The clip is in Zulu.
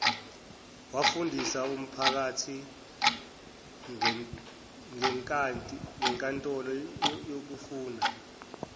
wafundisa umphakathingenkantolo yokufuna